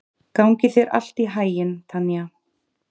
Gangi þér allt í haginn, Tanja.